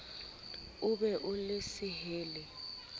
o be o le sehelle